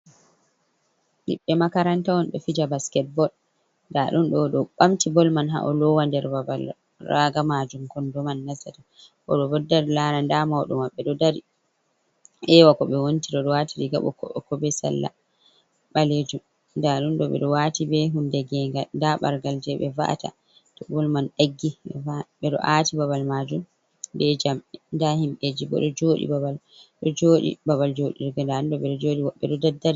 Ɓiɓɓe makaranta on ɗo fija basketbol nda ɗum ɗo oɗo bamti bol man ha’alowa nder babal raga majum kondo man nastata oɗo bo ɗo dari lara nda mauɗo maɓɓe ɗo dari ewa ko ɓe wontiri odo wati riga boko boko be salla ɓalejum nda ɗum ɗo ɓeɗo wati be hunde gengal nda ɓargal je ɓe va’ata to bol man ɗaggi ɓedo ati babal majum bejamɗe ndahimɓɓeji bo ɗo joɗi babal do jodi babal joɗirge nda ɗum ɗo ɓeɗo joɗi woɓɓe ɗo da dari.